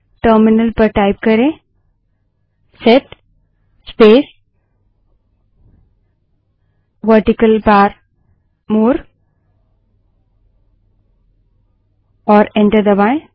terminal पर type करें set space vertical bar more और एंटर दबायें